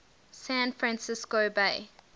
san francisco bay